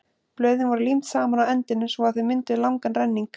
blöðin voru límd saman á endunum svo að þau mynduðu langan renning